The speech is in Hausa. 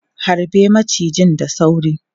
Harbe macijin da sauri!